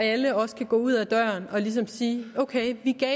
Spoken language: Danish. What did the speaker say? alle også kan gå ud af døren og ligesom sige at ok vi gav